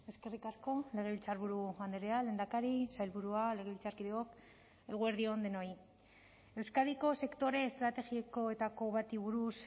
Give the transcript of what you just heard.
eskerrik asko legebiltzarburu andrea lehendakari sailburua legebiltzarkideok eguerdi on denoi euskadiko sektore estrategikoetako bati buruz